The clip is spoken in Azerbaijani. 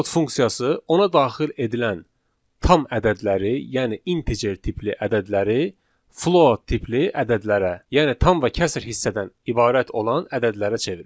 Float funksiyası ona daxil edilən tam ədədləri, yəni integer tipli ədədləri float tipli ədədlərə, yəni tam və kəsr hissədən ibarət olan ədədlərə çevirir.